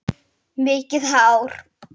Mikið hár.